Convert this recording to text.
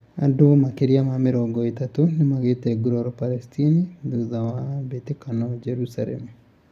Andũ makĩria ma mĩrongo ĩthatũ nĩmagite nguraro Palestine thutha wa mbĩtĩkano Jerusalem